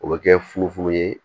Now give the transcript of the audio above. O bɛ kɛ fufu ye